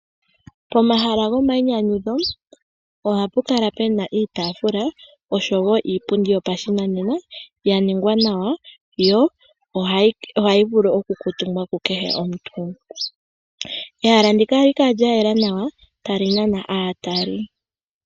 Pomahala gomainyanyudho, ohapu kala puna iitaafula, noshowo iipundi yopashinanena, yaningwa nawa, yo ohayi vulu okukuntumbwa kukehe omuntu. Ehala ndika ohali kala lyayela nawa, tali nana aatali.